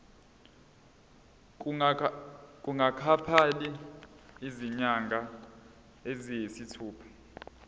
kungakapheli izinyanga eziyisithupha